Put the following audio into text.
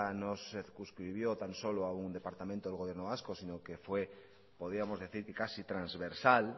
no se subscribió tan solo a un departamento del gobierno vasco sino que fue podíamos decir que casi transversal